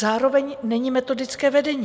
Zároveň není metodické vedení.